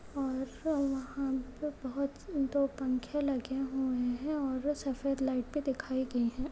और वहां पे बहोत दो पंखे लगे हुए हैं और सफेद लाइट भी दिखाई गई हैं।